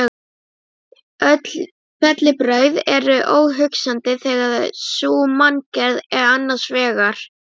Apótekari Lund bjó við hlið Austurvallar í Thorvaldsensstræti